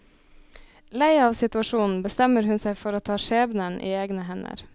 Lei av situasjonen bestemmer hun seg for å ta skjebnen i egne hender.